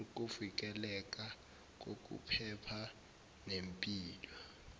ukuvikeleka kokuphepha nempilo